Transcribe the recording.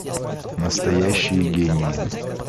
настоящие гении